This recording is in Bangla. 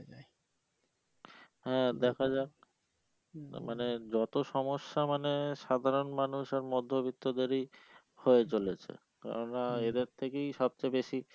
হ্যাঁ দেখা যাক মানে যত সমস্যা মানে সাধারণ মানুষ আর মধ্যবিত্তদেরই হয়ে চলেছে কারণ না এদের থেকেই সব চেয়ে বেশি